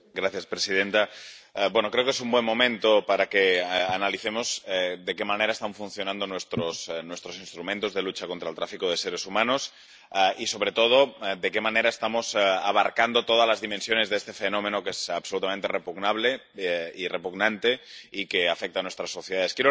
Señora presidenta, creo que es un buen momento para que analicemos de qué manera están funcionando nuestros instrumentos de lucha contra el tráfico de seres humanos y, sobre todo, de qué manera estamos abarcando todas las dimensiones de este fenómeno que es absolutamente repugnante y que afecta a nuestras sociedades.